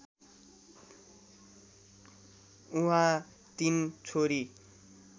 उहाँ तीन छोरी